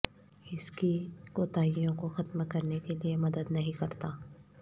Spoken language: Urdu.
اس کی کوتاہیوں کو ختم کرنے کے لئے مدد نہیں کرتا